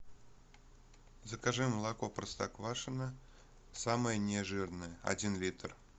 закажи молоко простоквашино самое нежирное один литр